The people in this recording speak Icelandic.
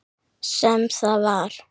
Sem það var.